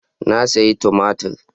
Na sayi tumatir.